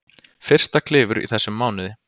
Fyrsta klifur í þessum mánuði